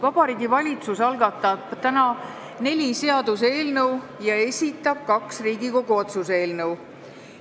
Vabariigi Valitsus algatab täna neli seaduseelnõu ja esitab kaks Riigikogu otsuse eelnõu.